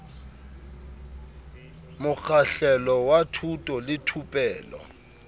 mokgahlelo wa thuto le thupello